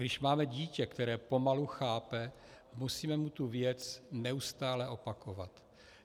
Když máme dítě, které pomalu chápe, musíme mu tu věc neustále opakovat.